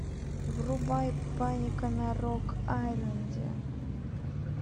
врубай паника на рок айленде